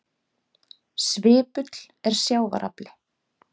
Svipull er sjávar afli.